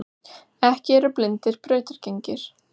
Ekki eru blindir brautargengir.